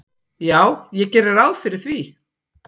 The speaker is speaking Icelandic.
"""Já, ég geri ráð fyrir því."""